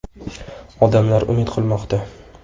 Odamlar umid qilmoqda.